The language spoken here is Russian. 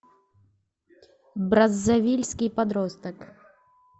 браззавильский подросток